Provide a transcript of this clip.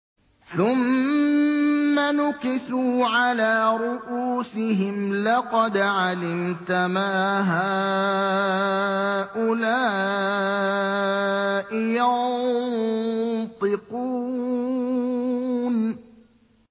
ثُمَّ نُكِسُوا عَلَىٰ رُءُوسِهِمْ لَقَدْ عَلِمْتَ مَا هَٰؤُلَاءِ يَنطِقُونَ